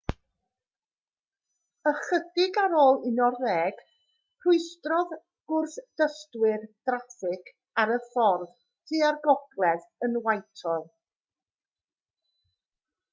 ychydig ar ôl 11:00 rhwystrodd gwrthdystwyr draffig ar y ffordd tua'r gogledd yn whitehall